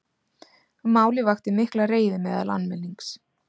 Málið vakti mikla reiði meðal almennings